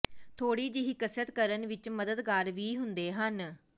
ਥੋੜ੍ਹੀ ਜਿਹੀ ਕਸਰਤ ਕਰਨ ਵਿਚ ਮਦਦਗਾਰ ਵੀ ਹੁੰਦੇ ਹਨ